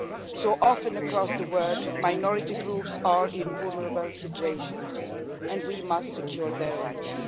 So often across the world minority groups are in vulnerable situations and we must secure their rights.